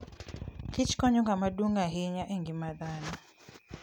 kichkonyo kama duong' ahinya e ngima dhano.